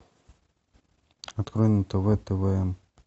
открой на тв твм